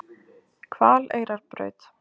Hvaleyrarbraut